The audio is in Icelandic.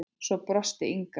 Svo brosti Inga.